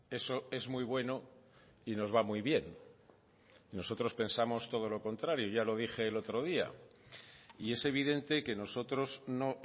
eso es muy bueno y nos va muy bien nosotros pensamos todo lo contrario ya lo dije el otro día y es evidente que nosotros no